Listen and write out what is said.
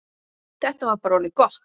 Þetta var bara orðið gott.